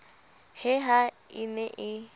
he ha e ne e